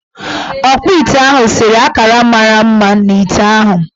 Ọkpụite ahụ sere akara mara mma n' ite ahụ.